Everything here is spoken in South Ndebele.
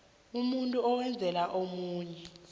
umuntu owenzela omunye